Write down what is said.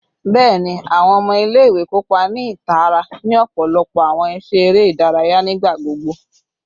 Bẹẹni, awọn ọmọ ile-iwe kopa ni itara ni ọpọlọpọ awọn iṣe ere idaraya nigbagbogbo